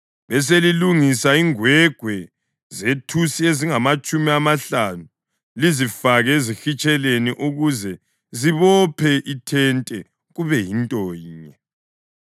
Beselilungisa ingwegwe zethusi ezingamatshumi amahlanu lizifake ezihitsheleni ukuze zibophe ithente kube yinto yinye.